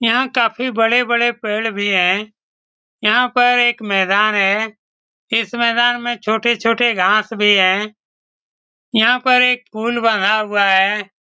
यहाँ काफी बड़े-बड़े पेड़ भी है। यहाँ पर एक मैदान हैं। इस मैदान में छोटे-छोटे घास भी है। यहाँ पर एक पूल बनाया हुआ है।